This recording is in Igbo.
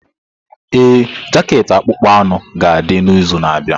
Ee, jaket akpụkpọ anụ ga-adị n'izu na-abịa.